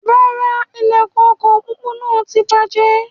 Rárá, ilẹkùn ọkọ pópó náà tí bàjẹ́